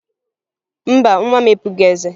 Mba, nwa m epughi eze